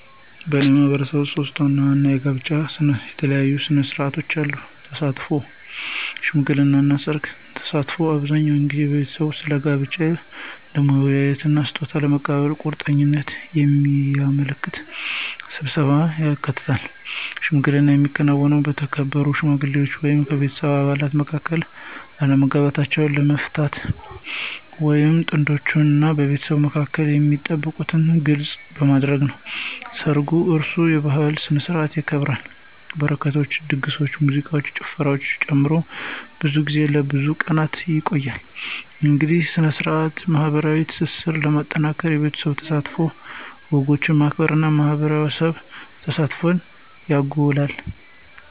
በእኔ ማህበረሰብ ውስጥ ሶስት ዋና ዋና ከጋብቻ ጋር የተያያዙ ሥነ ሥርዓቶች አሉ - ተሳትፎ፣ ሽምግልና እና ሠርግ። ተሳትፎ አብዛኛውን ጊዜ ቤተሰቦች ስለ ጋብቻ ለመወያየት እና ስጦታ ለመለዋወጥ ቁርጠኝነትን የሚያመለክት ስብሰባን ያካትታል። ሽምግልና የሚከናወነው በተከበሩ ሽማግሌዎች ወይም የቤተሰብ አባላት መካከል አለመግባባቶችን ለመፍታት ወይም በጥንዶች እና በቤተሰቦቻቸው መካከል የሚጠበቁትን ግልጽ ለማድረግ ነው። ሰርጉ እራሱ በባህላዊ ስነ-ስርዓቶች ይከበራል, በረከቶችን, ድግሶችን, ሙዚቃን እና ጭፈራን ጨምሮ, ብዙ ጊዜ ለብዙ ቀናት ይቆያል. እያንዳንዱ ሥነ ሥርዓት ማኅበራዊ ትስስርን ለማጠናከር የቤተሰብ ተሳትፎን፣ ወጎችን ማክበር እና የማህበረሰብ ተሳትፎን ያጎላል።